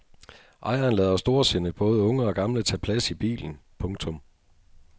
Ejeren lader storsindet både unge og gamle tage plads i bilen. punktum